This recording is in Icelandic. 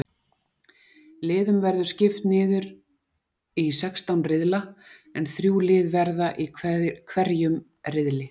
Liðum verður skipt niður í sextán riðla en þrjú lið verða í hverjum riðli.